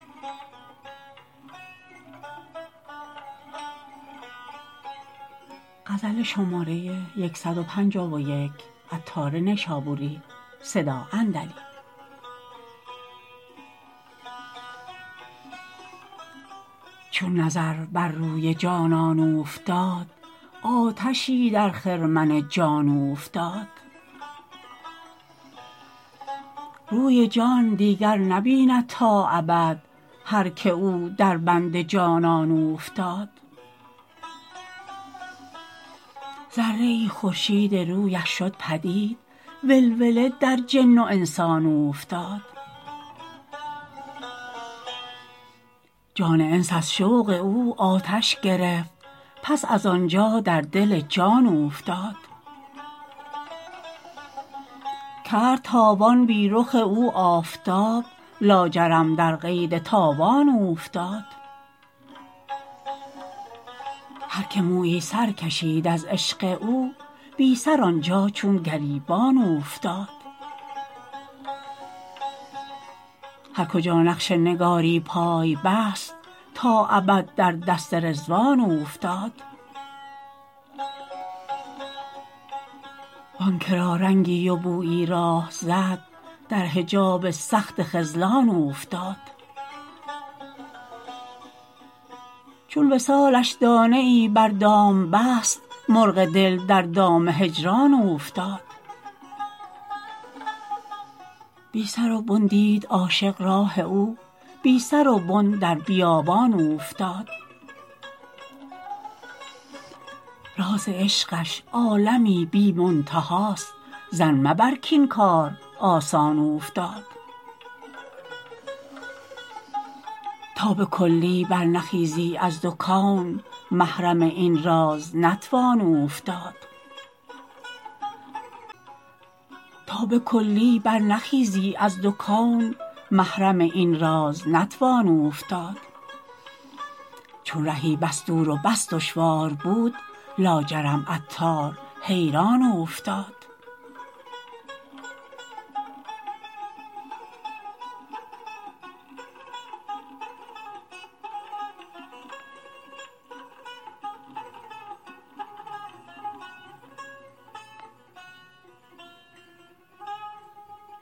چون نظر بر روی جانان اوفتاد آتشی در خرمن جان اوفتاد روی جان دیگر نبیند تا ابد هر که او در بند جانان اوفتاد ذره ای خورشید رویش شد پدید ولوله در جن و انسان اوفتاد جان انس از شوق او آتش گرفت پس از آنجا در دل جان اوفتاد کرد تابان بی رخ او آفتاب لاجرم در قید تاوان اوفتاد هر که مویی سرکشید از عشق او بی سر آنجا چون گریبان اوفتاد هر کجا نقش نگاری پای بست تا ابد در دست رضوان اوفتاد وانکه را رنگی و بویی راه زد در حجاب سخت خذلان اوفتاد چون وصالش دانه ای بر دام بست مرغ دل در دام هجران اوفتاد بی سر و بن دید عاشق راه او بی سر و بن در بیابان اوفتاد راز عشقش عالمی بی منتهاست ظن مبر کین کار آسان اوفتاد تا به کلی بر نخیزی از دو کون محرم این راز نتوان اوفتاد چون رهی بس دور و بس دشوار بود لاجرم عطار حیران اوفتاد